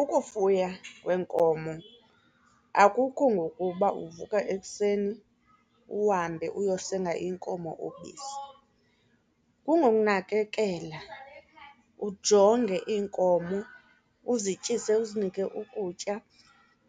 Ukufuywa kwenkomo akukho ngokuba uvuka ekuseni uhambe uyosenga iinkomo ubisi. Kungokunakekela, ujonge iinkomo uzityise, uzinikwe ukutya.